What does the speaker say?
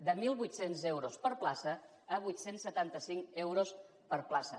de mil vuit cents euros per plaça a vuit cents i setanta cinc euros per plaça